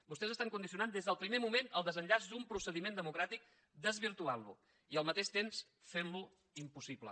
vostès estan condicionant des del primer moment el desenllaç d’un procediment democràtic desvirtuant lo i al mateix temps fent lo impossible